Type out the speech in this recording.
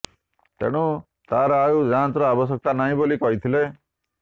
ତେଣୁ ତାର ଆଉ ଯାଞ୍ଚର ଆବଶ୍ୟକ ନାହିଁ ବୋଲି କହିଥିଲେ